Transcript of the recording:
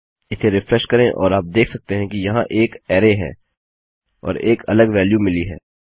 इसे रिफ्रेश करें और आप देख सकते हैं कि यहाँ एक अरै है और एक अलग वेल्यू मिली है